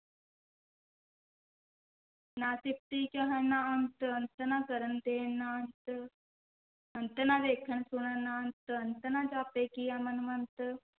ਨਾ ਸਿਫਤੀ ਕਹਣ ਨਾ ਅੰਤੁ, ਅੰਤੁ ਨ ਕਰਣ ਦੇਣਿ ਨਾ ਅੰਤੁ, ਅੰਤੁ ਨਾ ਵੇਖਣਿ ਸੁਣਣਿ ਨਾ ਅੰਤੁ, ਅੰਤੁ ਨਾ ਜਾਪੈ ਕਿਆ ਮਨਿ ਮੰਤੁ,